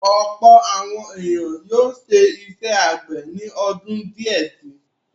Ọ̀pọ̀ àwọn ènìyàn yóò ṣe iṣẹ́ àgbẹ̀ ni ọdún díẹ̀ si.